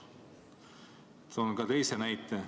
Toon ka teise näite.